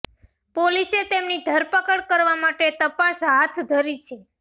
પોલીસે તેમની ધરપકડ કરવા માટે તપાસ હાથ ધરી છે